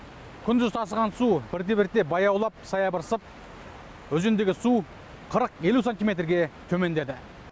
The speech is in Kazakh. күндіз тасыған су бірте бірте баяулап саябырсып өзендегі су қырық елу сантиметрге төмендеді